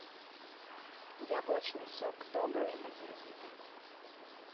яблочный сок добрый один литр